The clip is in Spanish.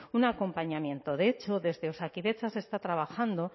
un acompañamiento de hecho desde osakidetza se está trabajando